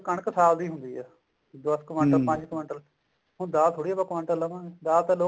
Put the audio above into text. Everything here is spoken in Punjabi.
ਕਣਕ ਸਾਲ ਦੀ ਹੁੰਦੀ ਆ ਹੁਣ ਦਾਲ ਥੋੜੀ ਆਪਾਂ ਕੁਆਂਟਲ ਲਵਾਂਗੇ ਦਾਲ ਤਾਂ ਲੋਕ